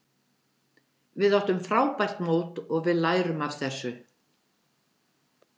Við áttum frábært mót og við lærum af þessu.